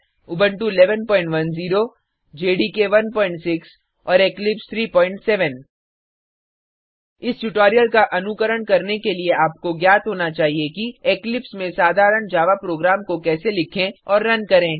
Ubuntu 1110 जेडीके16 और Eclipse 37 इस ट्यूटोरियल का अनुकरण करने के लिए आपको ज्ञात होना चाहिए कि इक्लिप्स में साधारण जावा प्रोग्राम को कैसे लिखे और रन करें